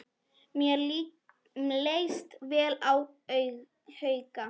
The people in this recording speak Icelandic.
Mér leist vel á Hauka.